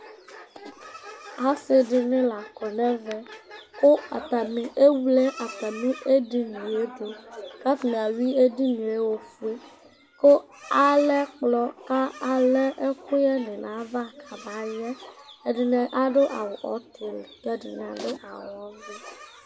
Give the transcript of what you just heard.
Asɩ dɩnɩ la kɔ nʋ ɛvɛ kʋ atanɩ ewle atamɩ edini yɛ dʋ kʋ atanɩ ayʋɩ edini yɛ ofue kʋ alɛ ɛkplɔ kʋ alɛ ɛkʋyɛnɩ nʋ ayava kamayɛ Ɛdɩnɩ adʋ awʋ ɔtɩlɩ kʋ ɛdɩnɩ adʋ awʋ ɔvɛ